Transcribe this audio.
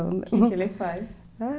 O que ele faz?